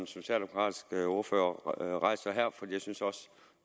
socialdemokratiske ordfører rejser her for jeg synes også